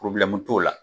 t'o la